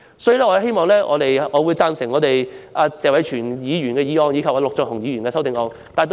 所以，我支持謝偉銓議員的原議案和陸頌雄議員的修正案。